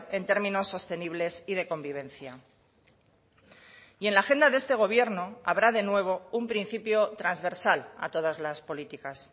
en términos sostenibles y de convivencia y en la agenda de este gobierno habrá de nuevo un principio transversal a todas las políticas